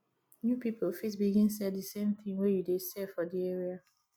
new pipo fit begin sell di same thing wey you dey sell for di area